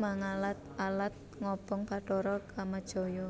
mangalad alad ngobong Bathara Kamajaya